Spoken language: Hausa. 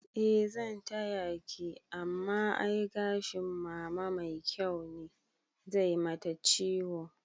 Eh zan tayaki amma ai gashin mama mai kyau ne, zai mata ciwo